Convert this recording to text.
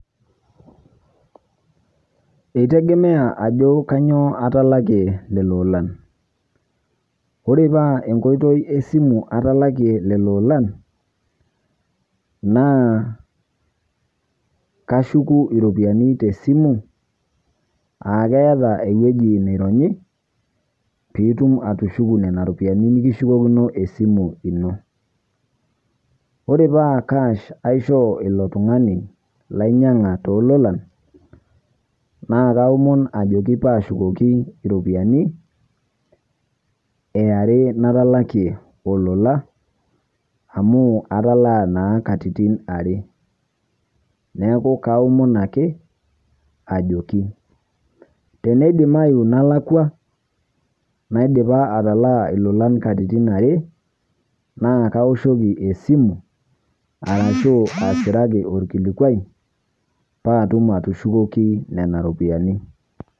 Etegemea ajoo kanyoo atalakie lelo ilolan. Ore paa enkoitoi e simu atalakie lelo ilolan naa kashuuku ropiani te simu aa keeta ewueji naironyii pii ituum atushuuku nenia ropiani nikishukukino esimu enoo. Ore paa cash aishoo elo ltung'ani lainyang'a to lolan naa aomoon ajooki paa shuukoki ropiani eare nataalakie elolan amu katalaa naa katitin are. Neeku kaomoon ake ajooki. Tene diimayu naalakwa naidipaaa atalaa elolan nkatitin are naa kaoshokii esimu arashu asiraaki olkilikwai paa atuum atushukoki nena ropiani.